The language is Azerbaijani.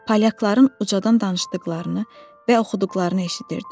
Polyakların ucadan danışdıqlarını və oxuduqlarını eşitdim.